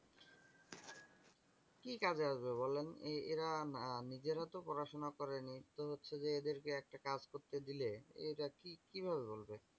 কি কাজে আসবে বলেন এই এরা না এরা নিজেরা তো পড়াশুনা করেনি। তো হচ্ছে যে এদেরকে একটা কাজ করতে দিলে এরা কিভাবে করবে?